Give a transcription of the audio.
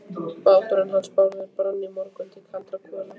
Báturinn hans Bárðar brann í morgun til kaldra kola.